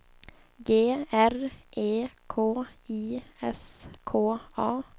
G R E K I S K A